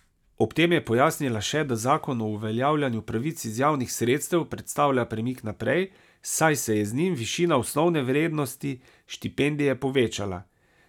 Ob tem je pojasnila še, da zakon o uveljavljanju pravic iz javnih sredstev predstavlja premik naprej, saj se je z njim višina osnovne vrednosti štipendije povečala.